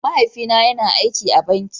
mahaifi na yana aikacin banki.